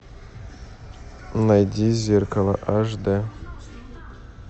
найди зеркало аш дэ